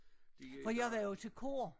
For jeg var jo til kor